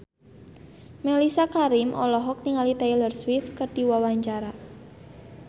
Mellisa Karim olohok ningali Taylor Swift keur diwawancara